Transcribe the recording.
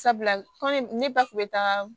Sabula kɔmi ne ba kun bɛ taga